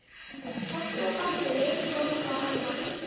Kobbi og Baddi litu hvor á annan.